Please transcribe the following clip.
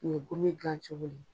U ye gomin gilan cogole.